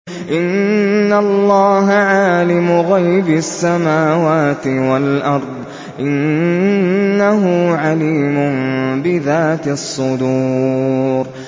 إِنَّ اللَّهَ عَالِمُ غَيْبِ السَّمَاوَاتِ وَالْأَرْضِ ۚ إِنَّهُ عَلِيمٌ بِذَاتِ الصُّدُورِ